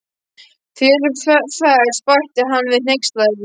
Þér ferst, bætti hann við hneykslaður.